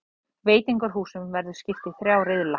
Veitingahúsunum verður skipt í þrjá riðla